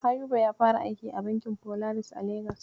Ayuba ya fara aiki a bankin Folaris a Legas.